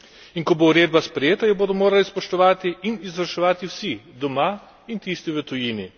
In ko bo uredba sprejeta, jo bodo morali spoštovati in izvrševati vsi doma in tisti v tujini.